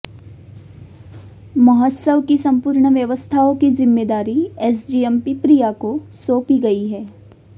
महोत्सव की संपूर्ण व्यवस्थाओ की जिम्मेदारी एसडीएम पिपरिया को सौंपी गई है